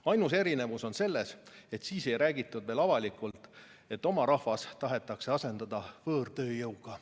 Ainus erinevus on selles, et siis ei räägitud veel avalikult, et oma rahvas tahetakse asendada võõrtööjõuga.